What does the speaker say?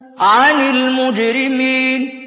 عَنِ الْمُجْرِمِينَ